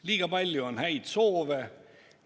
Liiga palju on häid soove.